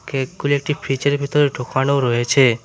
কেকগুলি একটি ফ্রিজ -এর ভিতরে ঢুকানো রয়েছে।